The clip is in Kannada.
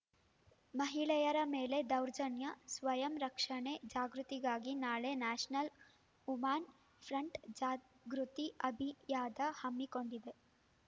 ಮಹಿಳೆಯರ ಮೇಲಿನ ದೌರ್ಜನ್ಯ ಸ್ವಯಂ ರಕ್ಷಣೆ ಜಾಗೃತಿಗಾಗಿ ನಾಳೆ ನ್ಯಾಷನಲ್ ಉಮಾನ್ ಫ್ರಂಟ್ ಜಾಗೃತಿ ಅಭಿಯಾದ ಹಮ್ಮಿಕೊಂಡಿದೆ